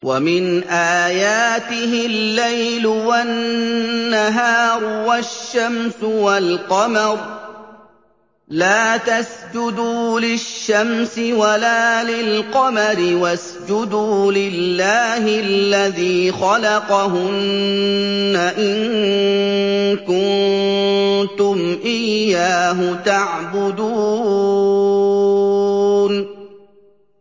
وَمِنْ آيَاتِهِ اللَّيْلُ وَالنَّهَارُ وَالشَّمْسُ وَالْقَمَرُ ۚ لَا تَسْجُدُوا لِلشَّمْسِ وَلَا لِلْقَمَرِ وَاسْجُدُوا لِلَّهِ الَّذِي خَلَقَهُنَّ إِن كُنتُمْ إِيَّاهُ تَعْبُدُونَ